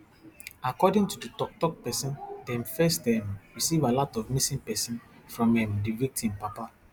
according to di toktok pesin dem first um receive alert of missing pesin from um di victim papa